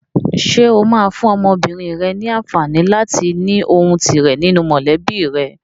Ṣé o máa fún ọmọbìnrin rẹ ní àǹfààní láti ní ohùn tirẹ̀ nínú mọ̀lẹ́bí rẹ?